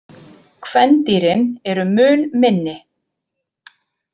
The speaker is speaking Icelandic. Kvendýrin eru mun minni.